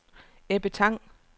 Ebbe Tang